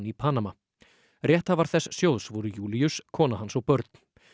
í Panama rétthafar þess sjóðs voru Júlíus kona hans og börn